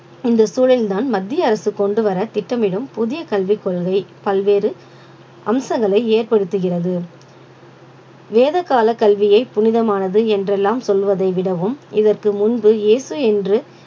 இந்த சூழலில்தான் மத்திய அரசு கொண்டு வர திட்டமிடும் புதிய கல்விக் கொள்கை பல்வேறு அம்சங்களை ஏற்படுத்துகிறது வேத கால கல்வியை புனிதமானது என்றெல்லாம் சொல்வதை விடவும் இதற்கு முன்பு இயேசு என்று